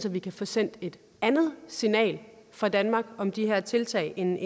at vi kan få sendt et andet signal fra danmark om de her tiltag end